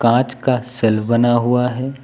कांच का सेल्व बना हुआ है।